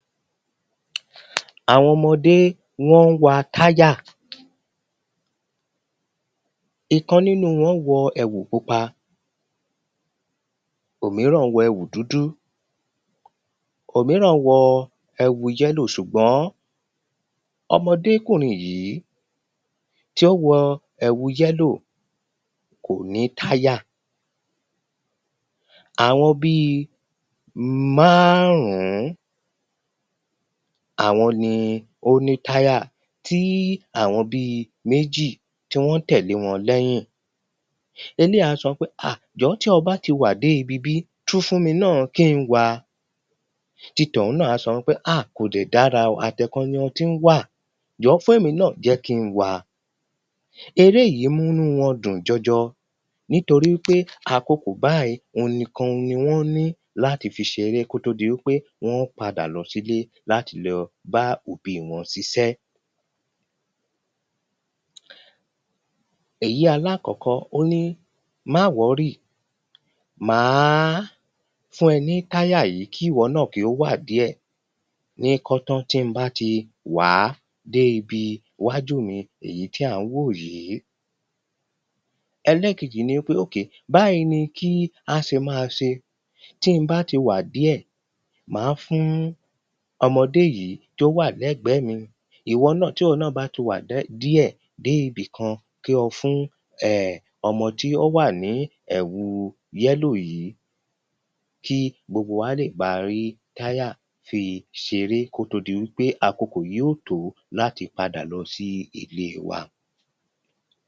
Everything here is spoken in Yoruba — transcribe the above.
àwọn ọmọdé wọ́n ń wa táyà, ìkan nínu wọ́n wọ ẹ̀wù pupa, òmíràn wọ ẹ̀wù dúdú, òmíràn wọ ẹ̀wù yẹ́lò, ṣùgbọ́n ọmọdékùnrin yìí, tí ó wọ ẹ̀wù yẹ́lò kò ní táyà, àwọn bíi máàrún, àwọn ni ó ní táyà, tí àwọn bíi méjì tí wọ́n tẹ̀lé wọn lẹ́yìn, eléyìí á sọ pé áà jọ̀ọ́ tí o bá ti wàá dé ibi ibí tún fún mi náà kí n wàá ti tọ̀hún náà á sọ pé áà kòdè dára o àti ẹ̀ẹ̀kan tí o ti ń wàá, jọ̀ọ́ fún èmi náà jẹ́ kí n wàá eré yìí mú inú wọn dùn jọjọ, nítorípé àkókò báyìí òun nìkan ni wọ́n ní láti fi ṣe eré kó tó di wípé wọ́n padà lọ sí ilé láti lọ bá òbi wọn ṣiṣẹ́ èyi alákọ̀ọ́kọ́, ó ní má wọ̀ọ́rì, màá fún ẹ ní táyà yìí, kí wọ náà kí o wàá díẹ̀, ní kọ́tán tí mo bá ti wàá dé ibi iwájú mi èyí tí à ń wò yìí ẹlẹ́ẹ̀kejì ni wípé, okay, báyìí ni kí á ṣe máa ṣe, tí mo bá ti wàá díẹ̀ màá fún ọmọdé yìí tí ó wà lẹ́gbẹ̀ẹ́ mi ìwọ náà, tí ìwọ náà bá ti wàá díẹ̀ dé ibì kan kí o fún ọmọ tí ó wà ní ẹ̀wu yẹ́lò yìí kí gbogbo wá lè ba rí táyà fi ṣeré kó tó di wípé àkókò yóò tòó láti padà lọ sí ilé wa.